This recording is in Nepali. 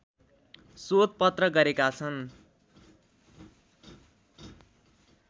शोधपत्र गरेका छन्